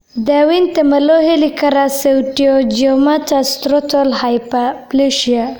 Daawaynta ma loo heli karaa pseudoangiomatous stromal hyperplasia (PASH)?